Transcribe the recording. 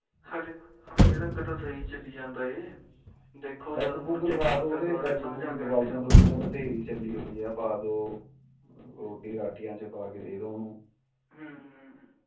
ਬਥੇਰੀ ਚੱਲੀ ਆ ਜੋ ਰੋਟੀ ਰਾਟੀਆਂ ਚ ਪਾਕੇ ਦੇਦੋ ਉਹਨੂੰ ਹਮ